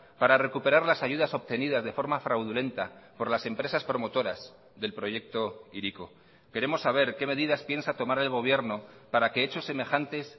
para recuperar las ayudas obtenidas de forma fraudulenta por las empresas promotoras del proyecto hiriko queremos saber qué medidas piensa tomar el gobierno para que hechos semejantes